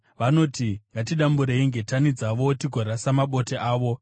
Vanoti, “Ngatidamburei ngetani dzavo, tigorasa mabote avo.”